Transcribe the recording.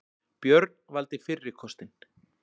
Björn valdi fyrri kostinn.